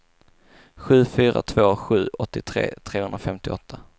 sju fyra två sju åttiotre trehundrafemtioåtta